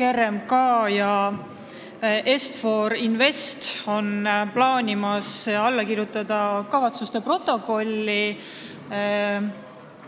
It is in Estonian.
RMK ja Est-For Invest plaanivad alla kirjutada ühiste kavatsuste protokolli